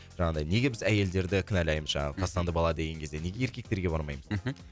жаңағыдай неге біз әйелдерді кінәлаймыз жаңағы тастанды бала деген кезде неге еркектерге бармаймыз мхм